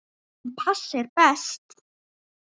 En pass er best.